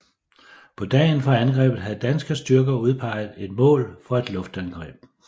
På dagen for angrebet havde danske styrker udpeget et mål for et luftangreb